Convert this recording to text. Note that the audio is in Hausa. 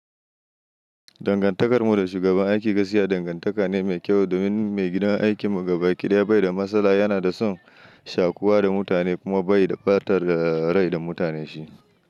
Dangantakar mu da shugaban aiki gaskiya dangantaka ne mai kyau domin maigidan aikin mu gaba ki ɗaya bai da matsala yana da son shaƙuwa da mutane kuma bai da ɓatar da rai da mutane shi.